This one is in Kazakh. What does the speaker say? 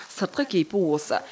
сыртқы кейпі осы